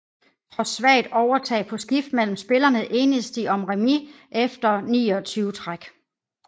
Trods svagt overtag på skift mellem spillerne enedes de om remis efter 29 træk